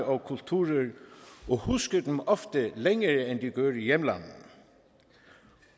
og kulturer og husker dem ofte længere end de gør i hjemlandene